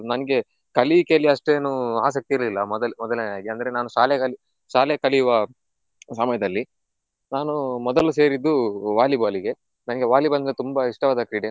ನನಗೆ ಕಲಿಯಿಕೆಯಲ್ಲಿ ಅಷ್ಟೇನೂ ಆಸಕ್ತಿ ಇರ್ಲಿಲ್ಲ ಮೊದಲ್~ ಮೊದಲನೆಯದಾಗಿ ಅಂದ್ರೆ ನಾನು ಶಾಲೆ ಕಲಿ ಶಾಲೆ ಕಲಿಯುವ ಸಮಯದಲ್ಲಿ ನಾನು ಮೊದಲು ಸೇರಿದ್ದು Volleyball ಇಗೆ ನಂಗೆ Volleyball ಅಂದ್ರೆ ತುಂಬಾ ಇಷ್ಟವಾದ ಕ್ರೀಡೆ.